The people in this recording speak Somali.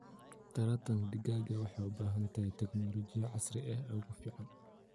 Taranta digaaga waxay u baahan tahay tignoolajiyada casriga ah ee ugu fiican.